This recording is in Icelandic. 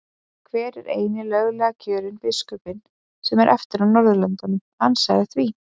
Hver er eini löglega kjörni biskupinn sem eftir er á Norðurlöndum, ansaðu því?